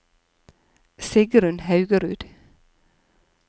Sigrunn Haugerud